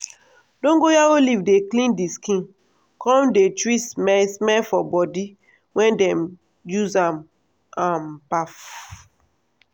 dongoyaro leaf dey clean di skin come dey treat smell smell for body wen dem use am um baff.